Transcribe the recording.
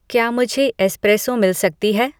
क्या मुझे एस्प्रेसो मिल सकती है